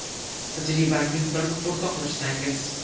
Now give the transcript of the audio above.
Tajribangiz bilan o‘rtoqlashsangiz.